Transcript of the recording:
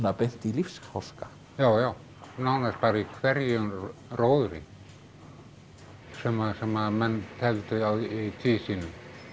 beint í lífsháska já já nánast bara í hverjum róðri sem sem menn tefldu í tvísýnu